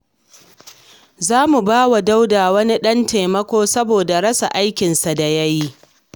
Za mu ba wa Dauda wani ɗan taimako saboda rasa aikinsa da ya yi.